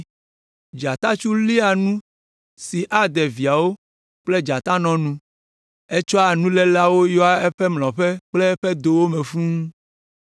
Dzatatsu léa nu si ade viawo kple dzatanɔ nu; etsɔa nuléleawo yɔa eƒe mlɔƒe kple eƒe dowo me fũu.